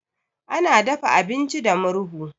Ana dafa abinci da murhu.